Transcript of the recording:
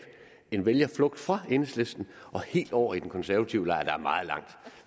en vælgerflugt fra enhedslisten og helt over i den konservative lejr der er meget langt